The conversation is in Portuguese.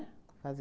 Fazem